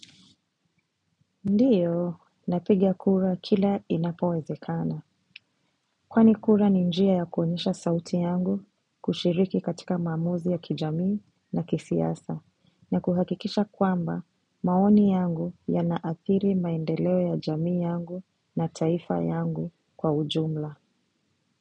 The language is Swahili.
Ndiyo, napiga kura kila inapowezekana. Kwani kura ni njia ya kuonyesha sauti yangu kushiriki katika maamuzi ya kijamii na kisiasa, na kuhakikisha kwamba maoni yangu yanaathiri maendeleo ya jamii yangu na taifa yangu kwa ujumla.